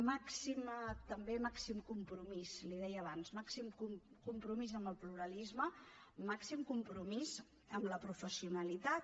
màxim també compromís li ho deia abans màxim compromís amb el pluralisme màxim compromís amb la professionalitat